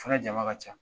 Fara jama ka ca